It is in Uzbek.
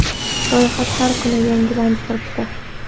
Ro‘yxat har kuni yangilanib turibdi.